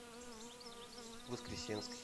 воскресенской